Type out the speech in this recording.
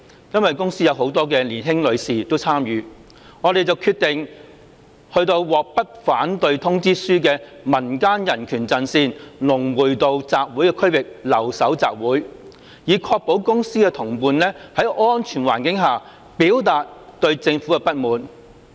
因為公司很多年輕女士亦有參與，我們便決定去獲不反對通知書的民間人權陣線龍匯道集會區域留守集會，以確保公司的同伴在安全環境下表達對政府的不滿。